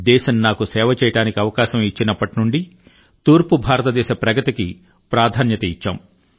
దేశం నాకు సేవ చేయడానికి అవకాశం ఇచ్చినప్పటి నుండి తూర్పు భారత దేశ ప్రగతికి ప్రాధాన్యత ఇచ్చాము